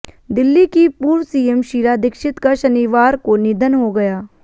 दिल्ली की पूर्व सीएम शीला दीक्षित का शनिवार को निधन हो गया